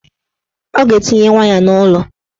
Ọ ga-etinye waya n'ụlọ